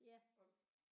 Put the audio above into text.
Ja